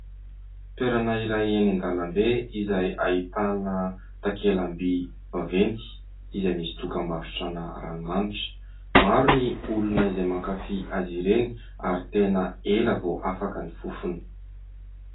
Toerana iray eny an-dalambe izay ahitana takela-by vaventy izay misy dokam-barotrana ranomanitra. Maro ny olona izay mankafy azy ireny ary tena ela vao afaka ny fofony.